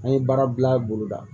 An ye baara bila bolo da